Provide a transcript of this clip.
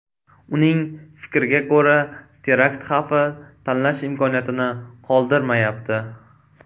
Uning fikriga ko‘ra, terakt xavfi tanlash imkoniyatini qoldirmayapti.